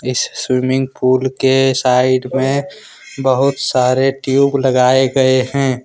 इस swimming pool के side में बहुत सारे ट्यूब लगाए गए है।